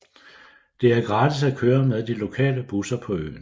Det er gratis at køre med de lokale busser på øen